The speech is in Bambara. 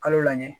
Kalo la ye